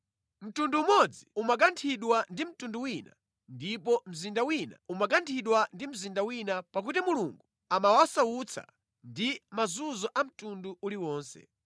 Mtundu umodzi umakanthidwa ndi mtundu wina ndipo mzinda wina umakanthidwa ndi mzinda wina, pakuti Mulungu amawasautsa ndi mazunzo a mtundu uliwonse.